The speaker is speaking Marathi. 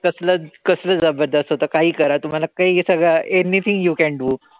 कसलंच काहीही करा तुम्हाला काई सगळं anything you can do.